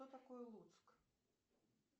что такое луцк